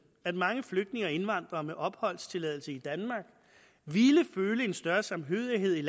at mange flygtninge og indvandrere med opholdstilladelse i danmark ville føle en større samhørighed